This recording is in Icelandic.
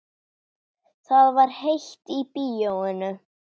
Það var heitt í bíóinu.